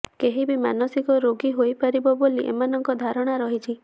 କେହିବି ମାନସିକ ରୋଗୀ ହୋଇପାରିବ ବୋଲି ଏମାନଙ୍କର ଧାରଣା ରହିଛି